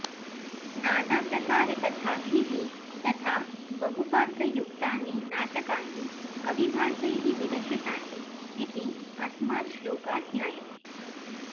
नानाप्रकारकथाभिः तथा बहुपात्रयुक्तानि नाटकानि कविभासैः विरचितानि इति अस्मात् श्लोकात् ज्ञायते